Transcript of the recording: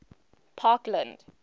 parkland